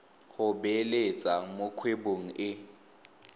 go beeletsa mo kgwebong e